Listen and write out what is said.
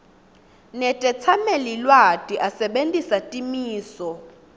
netetsamelilwati asebentisa timiso